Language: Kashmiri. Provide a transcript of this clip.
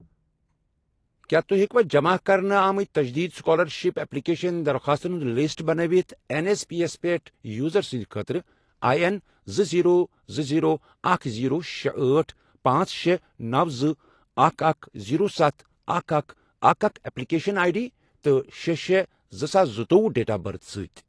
کیٛاہ تُہۍ ہیٚکوا جمع کرنہٕ آمٕت تجدیٖد سُکالرشپ ایٚپلِکیشن درخاستَن ہُنٛد لسٹ بناوِتھ این ایس پی یَس پٮ۪ٹھ یوزر سٕنٛد خٲطرٕ آی، این، زٕ، زیٖرو، زٕ، زیٖرو، اکھ، زیٖرو، شے، أٹھ، پانژھ، شے، نو، زٕ، اکھ، اکھ، زیٖرو، ستھَ، اکھَ، اکَھ، اکھَ، اکھَ، ایٛپلِکیشن آٮٔۍ ڈی تہٕ شے شے زٕساس زٕتووُہ ڈیٹ آف بٔرتھ سۭتۍ؟